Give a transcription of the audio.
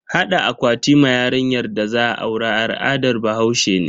Hada akwati ma yarinyar da za a aura al'adar bahaushe ne.